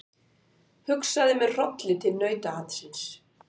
Hugsaði með hrolli til nautaatsins.